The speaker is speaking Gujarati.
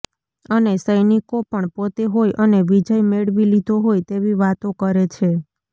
અને સૈનિકો પણ પોતે હોય અને વિજય મેળવી લીધો હોય તેવી વાતો કરે છે